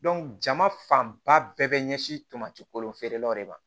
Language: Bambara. jama fanba bɛɛ bɛ ɲɛsin tolanci kolon feerelaw de ma